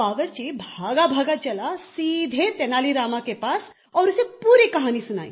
बावर्ची भागा भागा चला सीधे तेनाली रामा के पास और उसे पूरी कहानी सुनाई